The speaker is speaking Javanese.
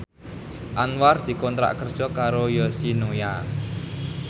Anwar dikontrak kerja karo Yoshinoya